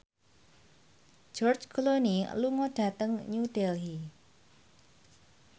George Clooney lunga dhateng New Delhi